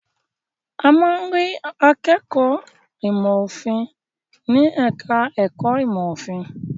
A máa ń rí àwọn akẹ́kọ̀ọ́ ìmọ̀-òfin ní ẹ̀ka-ẹ̀kọ́ ìmọ̀-òfin.